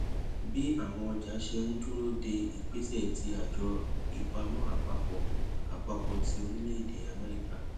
bí àwọn ọjà ṣe ń dúró de ìgbésè tí àjọ ìpamọ àpapò àpapò ti orílèèdè améríkà